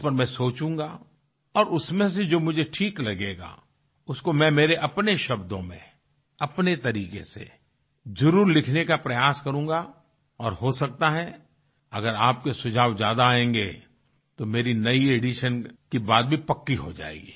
उस पर मैं सोचूँगा और उसमें से जो मुझे ठीक लगेगा उसको मैं मेरे अपने शब्दों में अपने तरीके से जरुर लिखने का प्रयास करूँगा और हो सकता है अगर आपके सुझाव ज्यादा आयेंगे तो मेरी नई एडिशन की बात भी पक्की हो जायेगी